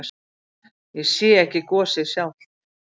Ég sé ekki gosið sjálft.